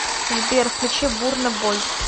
сбер включи бурна бой